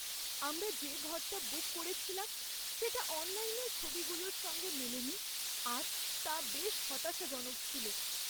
আমরা যে ঘরটা বুক করেছিলাম সেটা অনলাইনের ছবিগুলোর সঙ্গে মেলেনি আর তা বেশ হতাশাজনক ছিল।